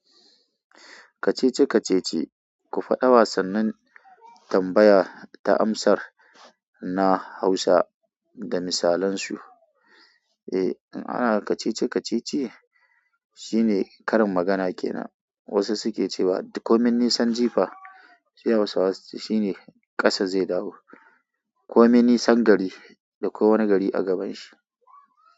Kacece-kacece, ku faɗa wasannin tambaya ta amsar na Hausa da misalansu. Eh, in ana kacece-kacece shine karin magana kenan. Wasu suke cewa "komai nisan jifa", sai hausawa su ce "shine ƙasa zai dawo", "komai nisan gari" da kowane gari a gaban shi.